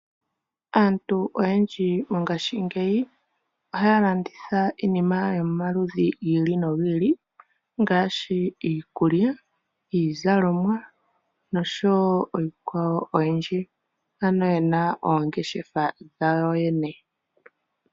Aantu oyendji mongashingeyi ohaya landitha iinima yomaludhi gi ili nogi ili ngaashi iikulya, iizalomwa noshowo iikwawo oyindji, ano ye na oongeshefa dhawo yoyene.